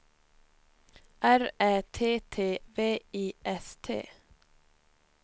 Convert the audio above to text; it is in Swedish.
R Ä T T V I S T